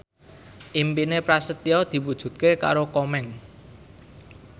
impine Prasetyo diwujudke karo Komeng